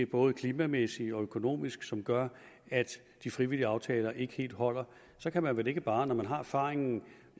både klimamæssigt og økonomisk som gør at de frivillige aftaler ikke helt holder kan man vel ikke bare når man har erfaringen